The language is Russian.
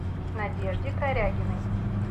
надежде корягиной